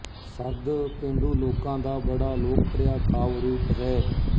ਸੱਦ ਪੇਂਡੂ ਲੋਕਾਂ ਦਾ ਬੜਾ ਲੋਕਪ੍ਰਿਆ ਕਾਵਿ ਰੂਪ ਹੈ